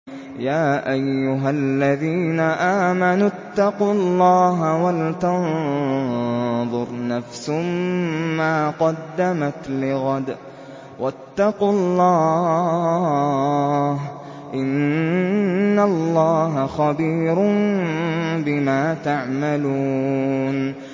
يَا أَيُّهَا الَّذِينَ آمَنُوا اتَّقُوا اللَّهَ وَلْتَنظُرْ نَفْسٌ مَّا قَدَّمَتْ لِغَدٍ ۖ وَاتَّقُوا اللَّهَ ۚ إِنَّ اللَّهَ خَبِيرٌ بِمَا تَعْمَلُونَ